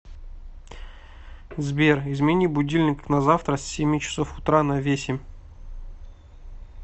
сбер измени будильник на завтра с семи часов утра на весемь